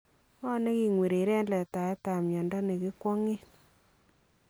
Ngo neking'wereree en letaetab myando ne kikwang'en?